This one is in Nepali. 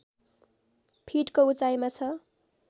फिटको उचाइमा छ